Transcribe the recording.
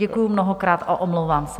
Děkuji mnohokrát a omlouvám se.